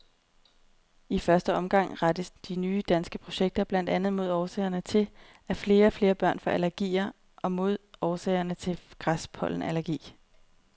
I første omgang rettes de nye danske projekter blandt andet mod årsagerne til, at flere og flere børn får allergier og mod årsagerne til græspollenallergi.